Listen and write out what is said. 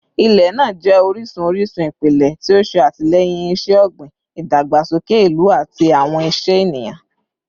Ilẹ naa jẹ orisun orisun ipilẹ ti o ṣe atilẹyin iṣẹ-ogbin, idagbasoke ilu, ati awọn iṣẹ eniyan